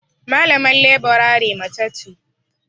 Malaman leburare mace ce.